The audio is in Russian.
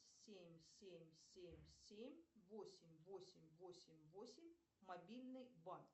семь семь семь семь восемь восемь восемь восемь мобильный банк